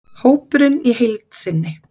Hópurinn í heild sinni: